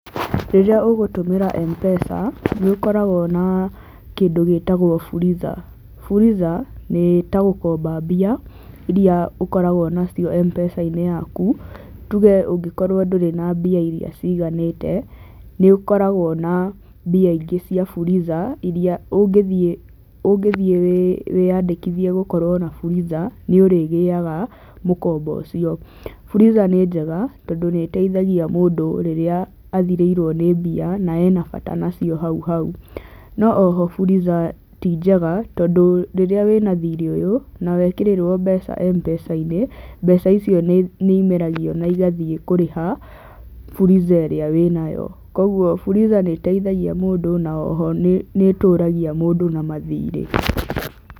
Rĩrĩa ũgũtũmĩra M-Pesa nĩ ũkoragwo na kĩndũ gĩtagwo Fuliza, Fuliza nĩ ta gũkomba mbia iria ũkoragwo nacio M-Pesa-inĩ yaku. Tuge ũngĩkorwo ndũrĩ na mbia iria ciganĩte, nĩ ũkoragwo na mbia ingĩ cia Fuliza, iria ũngĩthiĩ wĩyandĩkithie gũkorwo na Fuliza, na nĩ ũrĩgĩaga mũkombo ũcio. Fuliza nĩ njega tondũ nĩ ĩteithagia mũndũ rĩrĩa athirĩirwo nĩ mbia na wĩna bata nacio hauhau. No ĩno Fuliza tinjega tondũ rĩrĩa wĩna thirĩ ũyũ, na wekĩrĩrwo mbeca M-Pesa-inĩ, mbeca icio nĩ imeragio na igathiĩ kũriha Fuliza ĩrĩa wĩnayo. Koguo Fuliza nĩ ĩteithagia mũndũ na oho nĩ tũragia mũndũ na mathirĩ.